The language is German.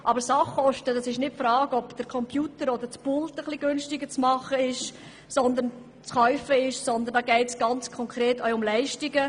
Aber es geht bei den Sachkosten nicht um die Frage, ob man einen Schreibtisch oder einen Computer etwas preisgünstiger kaufen kann, sondern es geht ganz konkret auch um Leistungen.